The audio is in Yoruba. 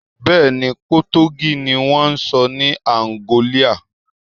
Bẹ́ẹ̀ni, Potogí ni wón ń sọ ní Àǹgọ́líà